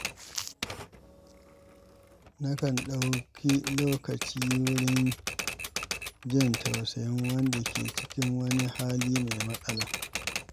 Nakan ɗauki lokaci wurin jin tausayin wanda ke cikin wani hali mai matsala.